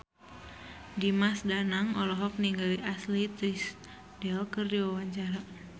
Dimas Danang olohok ningali Ashley Tisdale keur diwawancara